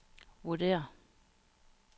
vurderer